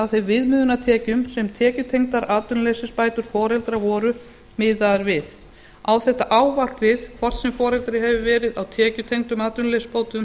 þeim viðmiðunartekjum sem tekjutengdar atvinnuleysisbætur foreldra voru miðaðar við á þetta ávallt við hvort sem foreldri hefur verið á tekjutengdum atvinnuleysisbótum